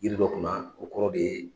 Yiri dɔ kunma o kɔrɔ de ye